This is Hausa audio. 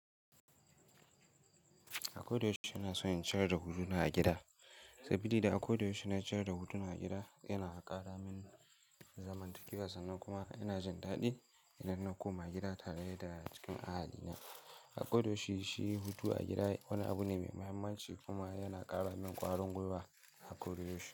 A kodayaushe ina son in ciyar da guruna a gida. Saboda a kodayaushe na ciyar da hutuna a gida yana ƙara min zamantakewa sannan kuma ina jindaɗi, idan na koma gida tare da cikin ahali na. A kodayaushe shi hutu a gida wani abu ne mai muhimmanci kuma yana ƙara min kwarin gwiwa na a kodayaushe.